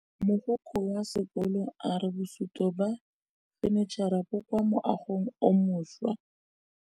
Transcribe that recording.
Mogokgo wa sekolo a re bosutô ba fanitšhara bo kwa moagong o mošwa.